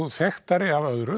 þekktari af öðru